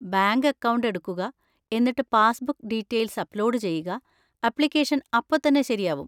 Bank account എടുക്കുക, എന്നിട്ട് passbook details upload ചെയ്യുക, അപ്ലിക്കേഷൻ അപ്പോ തന്നെ ശരിയാവും.